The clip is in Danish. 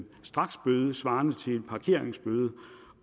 straksbøde svarende til en parkeringsbøde